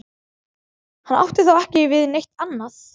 Hann átti þá ekki við neitt annað.